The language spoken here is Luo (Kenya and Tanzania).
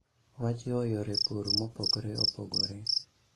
Wajiwo yore pur mopogore opogore